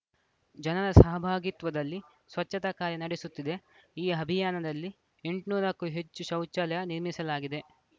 ಜನರ ಸಹಭಾಗಿತ್ವದಲ್ಲಿ ಸ್ವಚ್ಚತಾ ಕಾರ್ಯ ನಡೆಸುತ್ತಿದೆ ಈ ಅಭಿಯಾನದಲ್ಲಿ ಎಂಟುನೂರ ಕ್ಕೂ ಹೆಚ್ಚು ಶೌಚಾಲಯ ನಿರ್ಮಿಸಲಾಗಿದೆ